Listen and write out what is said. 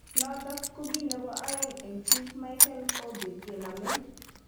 Notok ko ki nebo aeng eng chief Mikel Obi kenamei